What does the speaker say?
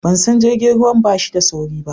ban san jirgin ruwan bashi da sauri ba